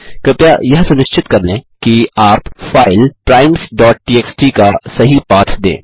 कृपया यह सुनिश्चित कर लें कि आप फाइल primesटीएक्सटी का सही पाथ दें